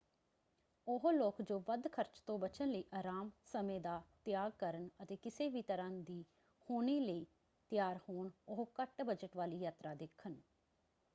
ਉਹ ਲੋਕ ਜੋ ਵੱਧ ਖਰਚ ਤੋਂ ਬਚਣ ਲਈ ਅਰਾਮ ਸਮੇਂ ਦਾ ਤਿਆਗ ਕਰਨ ਅਤੇ ਕਿਸੇ ਵੀ ਤਰ੍ਹਾਂ ਦੀ ਹੋਣੀ ਲਈ ਤਿਆਰ ਹੋਣ ਉਹ ਘੱਟ ਬਜਟ ਵਾਲੀ ਯਾਤਰਾ ਦੇਖਣ।